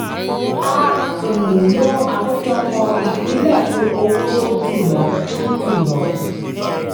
a um lo àkójọ ìpínlẹ̀ fún owó tó ju lọ. tó ju lọ.